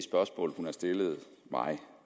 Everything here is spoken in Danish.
spørgsmål hun har stillet mig